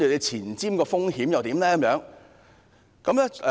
前瞻的風險又如何？